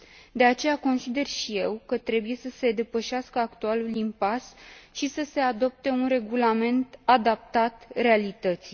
De aceea consider și eu că trebuie să se depășească actualul impas și să se adopte un regulament adaptat realității.